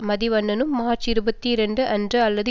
மதிவதனனும் March இருபத்தி இரண்டு அன்று அல்லது